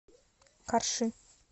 карши